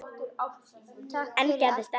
Enn gerðist ekkert.